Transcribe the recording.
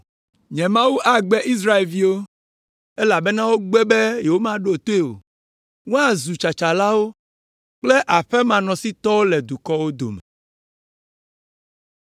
Nye Mawu agbe Israelviwo, elabena wogbe be yewomaɖo toe o. Woazu tsatsalawo, kple aƒemanɔsitɔwo le dukɔwo dome.